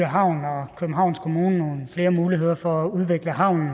havn og københavns kommune nogle flere muligheder for at udvikle havnen